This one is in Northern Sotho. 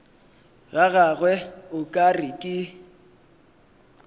gagwe o ka re ke